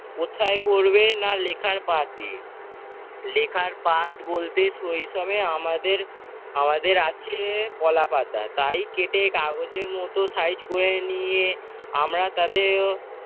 ওথায় পড়বে না লেখার পাথ দিয়ে। লেখার পাথ বলতে সই সমে আমাদের আমাদের আছে কলাপাতা, তাই কেটে কাগজের মতো size করে নিয়ে আমরা তাতেও